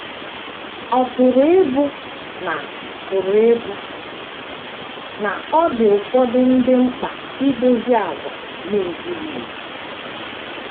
Ọ̀ pụrụ ịbụ na pụrụ ịbụ na ọ dị ụfọdụ ndị mkpa idozi àgwà na - ezighị ezi?